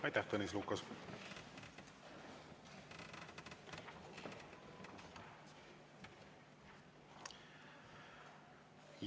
Aitäh, Tõnis Lukas!